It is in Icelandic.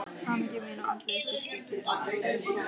Hamingja mín og andlegur styrkleiki er að þrotum kominn.